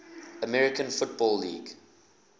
american football league